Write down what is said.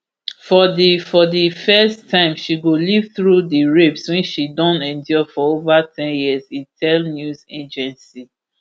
for di for di first time she go live through di rapes wey she don endure for ova ten years e tell afp news agency